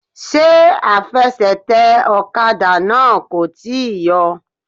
Ṣé afẹsẹ̀tẹ̀ ọ̀kadà náà kò tíì yọ?